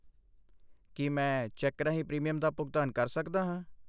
ਕੀ ਮੈਂ ਚੈੱਕ ਰਾਹੀਂ ਪ੍ਰੀਮੀਅਮ ਦਾ ਭੁਗਤਾਨ ਕਰ ਸਕਦਾ ਹਾਂ?